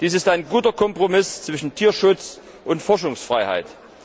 Dies ist ein guter Kompromiss zwischen Tierschutz und Forschungsfreiheit.